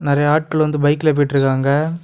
நறைய ஆட்கள் வந்து பைக்ல போயிட்ருக்காங்க.